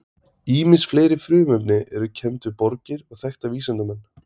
ýmis fleiri frumefni eru kennd við borgir og þekkta vísindamenn